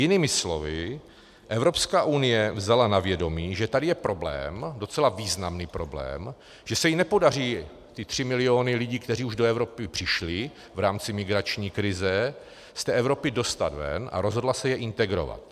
Jinými slovy, Evropská unie vzala na vědomí, že tady je problém, docela významný problém, že se jí nepodaří ty tři miliony lidí, kteří už do Evropy přišli v rámci migrační krize, z té Evropy dostat ven, a rozhodla se je integrovat.